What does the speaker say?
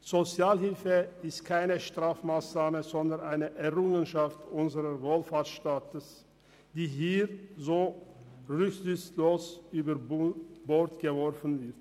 Sozialhilfe ist keine Strafmassnahme, sondern eine Errungenschaft unseres Wohlfahrtsstaats, die hier so rücksichtslos über Bord geworfen wird.